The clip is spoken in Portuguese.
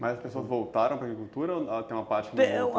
Mas as pessoas voltaram para a agricultura ou tem uma parte que não voltou?